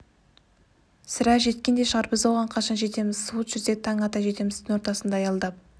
сірә жеткен де шығар біз оған қашан жетеміз суыт жүрсек таң ата жетеміз түн ортасында аялдап